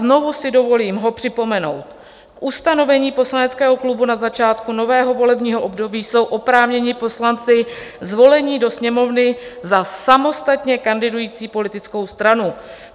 Znovu si dovolím ho připomenout: "K ustanovení poslaneckého klubu na začátku nového volebního období jsou oprávněni poslanci zvolení do Sněmovny za samostatně kandidující politickou stranu.